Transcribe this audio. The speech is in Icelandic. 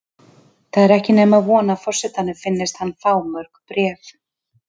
Það er ekki nema von að forsetanum finnist hann fá mörg bréf.